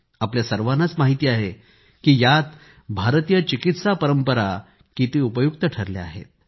आपल्या सर्वांनाच माहिती आहे जी यात भारतीय चिकित्सा परंपरा किती उपयुक्त ठरल्या आहेत